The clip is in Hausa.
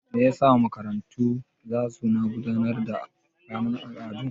Me yasa makarantu zasu na gudanar da ranar al'adu?